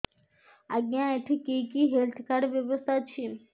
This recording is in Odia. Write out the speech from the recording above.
ଆଜ୍ଞା ଏଠି କି କି ହେଲ୍ଥ କାର୍ଡ ବ୍ୟବସ୍ଥା ଅଛି